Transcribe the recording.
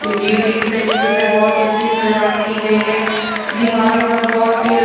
unique तरीके से बहुत ही अच्छी सजावट की गई है दीवारों पर बहुत ही--